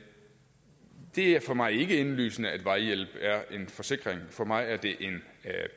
er for mig ikke indlysende at vejhjælp er en forsikring for mig er det en